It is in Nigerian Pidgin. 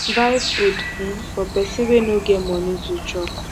buy food um for pesin wey no get moni to chop